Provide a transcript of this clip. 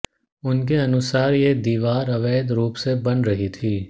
उनके अनुसार ये दीवार अवैध रूप से बन रही थी